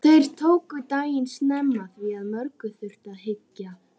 Þeir tóku daginn snemma, því að mörgu þurfti að hyggja.